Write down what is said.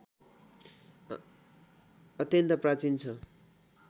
अत्यन्त प्राचीन छ